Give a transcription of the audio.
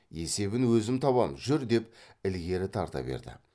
есебін өзім табам жүр деп ілгері тарта берді